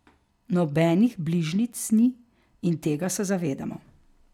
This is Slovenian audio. Nobenih bližnjic ni in tega se zavedamo.